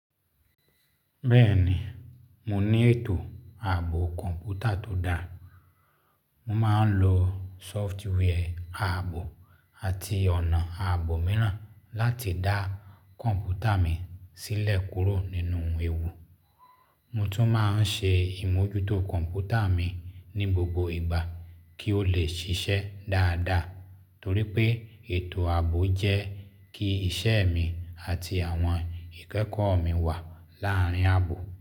Bẹ́ẹ̀ni, mo ní ètò ààbò kọ̀ǹpútà tó dáa. Mo máa ń lo sọftwarẹ̀ ààbò àti ọ̀nà ààbò mìíràn láti dá kọ̀ǹpútà mi sílẹ̀ kúrò nínú ewu. Mo tún máa ń ṣe ìmójútó kọ̀ǹpútà mi ní gbogbo ìgbà kí ó lè ṣiṣẹ́ dáadáa. Torí pé ètò ààbò jẹ́ kí iṣẹ́ mi àti àwọn ìkẹ́kọ̀ọ́ mi wà láàárín ààbò.